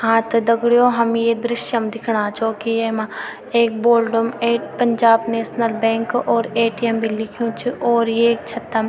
हाँ त दगडियों हम ये दृश्य म दिखणा छौ की येमा एक बोल्डम एक पंजाब नेशनल बैंक और ए.टी.एम. भी लिख्युं छ और येक छतम।